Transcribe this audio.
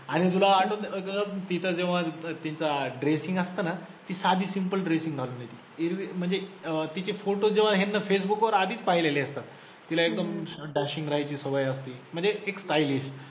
आणि तुला आठवतं, अगं तिचं जेव्हा तिचं dressing असतं ना ती साधी simple dressing घालून येते, एरवी म्हणजे अं तिचे photos जेव्हा ह्यांना फेसबुक वर आधीच पाहिलेले असतात, तिला एकदम dashing राहायची सवय असते म्हणजे stylish